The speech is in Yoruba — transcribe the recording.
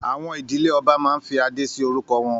Àwọn ìdílé ọba máa ń fí adé si orúkọ wọn